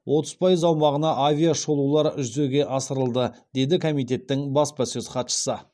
отыз пайыз аумағына авиашолулар жүзеге асырылды деді комитеттің баспасөз хатшысы